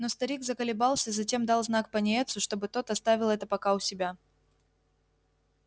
но старик заколебался затем дал знак пониетсу чтобы тот оставил это пока у себя